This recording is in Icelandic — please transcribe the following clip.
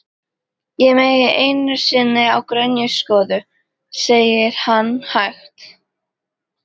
Ég meig einu sinni á grenjuskjóðu, segir hann hægt.